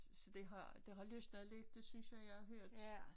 Så det har det har løsnet lidt det synes jeg jeg har hørt